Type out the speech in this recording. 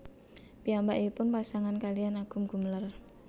Piyambakipun pasangan kaliyan Agum Gumelar